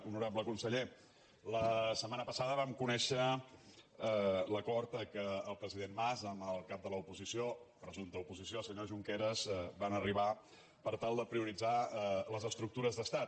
honorable conseller la set·mana passada vam conèixer l’acord a què el president mas amb el cap de l’oposició presumpta oposició senyor junqueras van arribar per tal de prioritzar les estructures d’estat